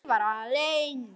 Ég var alein.